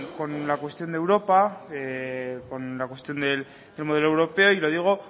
con la cuestión de europa con la cuestión del modelo europeo y lo digo